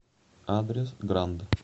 адрес гранд